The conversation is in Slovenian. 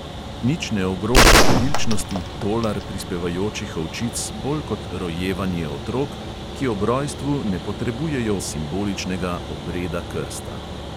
Nič ne ogroža številčnosti tolar prispevajočih ovčic bolj kot rojevanje otrok, ki ob rojstvu ne potrebujejo simboličnega obreda krsta.